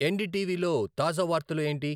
ఎన్డీటీవీలో తాజా వార్తలు ఏంటి